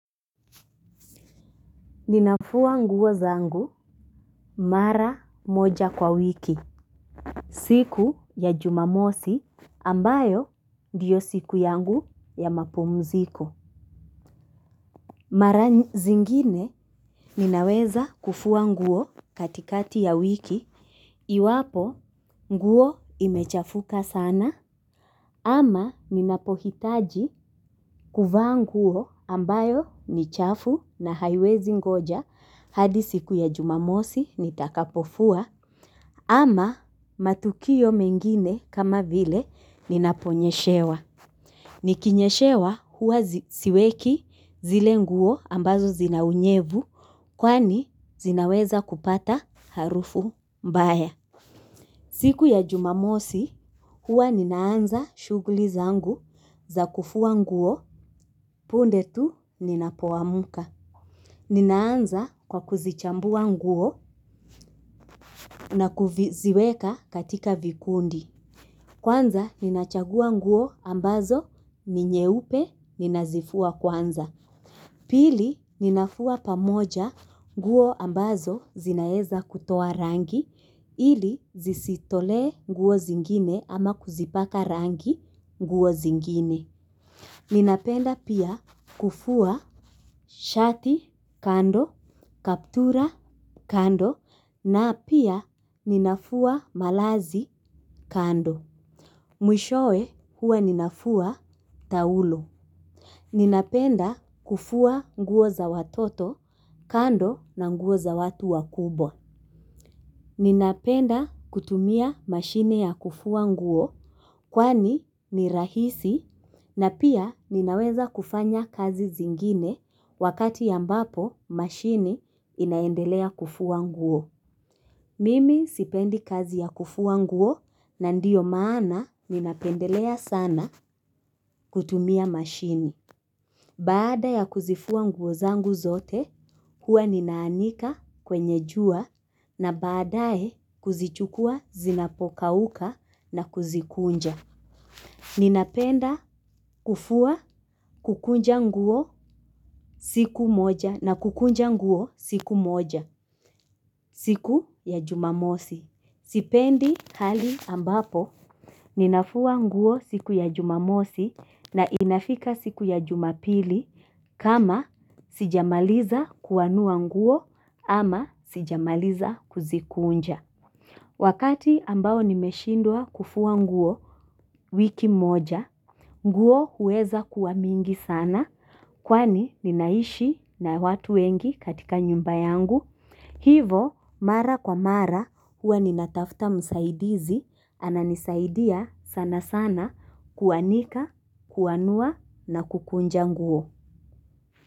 Ninafua nguo zangu mara moja kwa wiki, siku ya jumamosi ambayo ndiyo siku yangu ya mapumziko. Mara zingine ninaweza kufua nguo katikati ya wiki, iwapo nguo imechafuka sana, ama ninapohitaji kuvaa nguo ambayo ni chafu na haiwezi ngoja hadi siku ya jumamosi nitakapofua ama matukio mengine kama vile ninaponyeshewa. Nikinyeshewa huwa siweki zile nguo ambazo zina unyevu kwani zinaweza kupata harufu mbaya. Siku ya jumamosi, huwa ninaanza shughuli zangu za kufua nguo, punde tu ninapoamka. Ninaanza kwa kuzichambua nguo na kuziweka katika vikundi. Kwanza, ninachagua nguo ambazo, ni nyeupe, ninazifua kwanza. Pili ninafua pamoja nguo ambazo zinaeza kutoa rangi ili zisitolee nguo zingine ama kuzipaka rangi nguo zingine. Ninapenda pia kufua shati kando, kaptura kando na pia ninafua malazi kando. Mwishowe huwa ninafua taulo ninapenda kufua nguo za watoto kando na nguo za watu wakubwa. Ninapenda kutumia mashine ya kufua nguo kwani ni rahisi na pia ninaweza kufanya kazi zingine wakati ambapo mashine inaendelea kufua nguo. Mimi sipendi kazi ya kufua nguo na ndiyo maana ninapendelea sana kutumia mashini. Baada ya kuzifua nguo zangu zote, huwa ninaanika kwenye jua na baadae kuzichukua zinapokauka na kuzikunja. Ninapenda kufua kukunja nguo siku moja na kukunja nguo siku moja siku ya jumamosi. Sipendi hali ambapo ninafua nguo ya jumamosi na inafika siku ya jumapili kama sijamaliza kuanua nguo ama sijamaliza kuzikunja wakati ambao nimeshindwa kufua nguo wiki moja nguo huweza kuwa mingi sana kwani ninaishi na watu wengi katika nyumba yangu hivyo mara kwa mara huwa ninatafuta msaidizi ananisaidia sana sana kuanika kuanua na kukunja nguo.